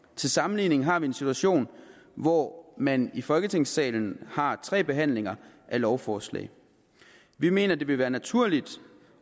til sammenligning har vi en situation hvor man i folketingssalen har tre behandlinger af lovforslag vi mener at det vil være naturligt